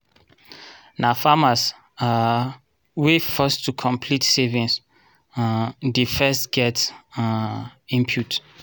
na farmers um wey first to complete saving um dey first get um input.